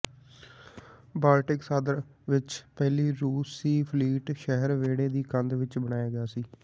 Baltic ਸਾਗਰ ਵਿੱਚ ਪਹਿਲੀ ਰੂਸੀ ਫਲੀਟ ਸ਼ਹਿਰ ਵਿਹੜੇ ਦੀ ਕੰਧ ਵਿੱਚ ਬਣਾਇਆ ਗਿਆ ਸੀ